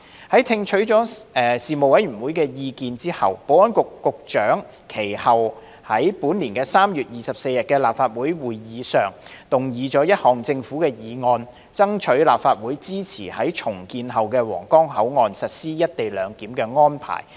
在聽取了事務委員會的意見後，保安局局長其後在本年3月24日的立法會會議上動議一項政府議案，爭取立法會支持在重建後的皇崗口岸實施"一地兩檢"安排。